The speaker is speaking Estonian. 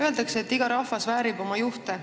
Öeldakse, et iga rahvas väärib oma juhte.